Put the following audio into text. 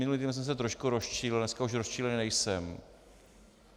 Minulý týden jsem se trošku rozčílil, dneska už rozčílený nejsem.